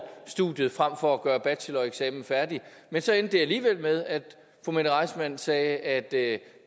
studiet frem for at gøre sin bacheloreksamen færdig men så endte det alligevel med at fru mette reissmann sagde at